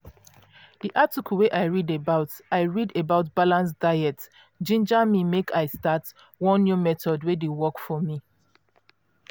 di article wey i read about i read about balanced diets ginger me make i start one new method wey dey work for me.